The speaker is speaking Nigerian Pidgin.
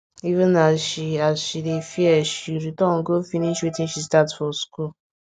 even as she as she dey fear she return go finish wetin she start for school